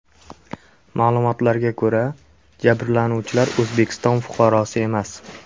Ma’lumotlarga ko‘ra, jabrlanuvchilar O‘zbekiston fuqarosi emas.